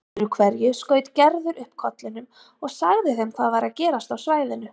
Öðru hverju skaut Gerður upp kollinum og sagði þeim hvað væri að gerast á svæðinu.